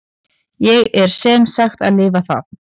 Ég er sem sagt að lifa það.